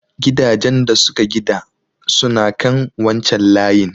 Gidajan da suka gida suna kan wancan layin.